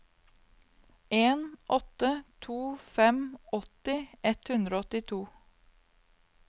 en åtte to fem åtti ett hundre og åttito